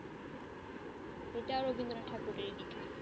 এটাও রবীন্দ্রনাথ ঠাকুরেরই লেখা।